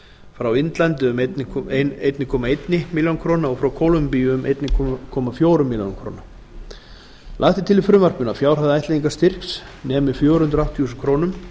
frá indlandi um einn komma eina milljón króna og frá kólumbíu um einn komma fjórum milljónum króna lagt er til í frumvarpinu að fjárhæð ættleiðingarstyrks nemi fjögur hundruð áttatíu þúsund krónur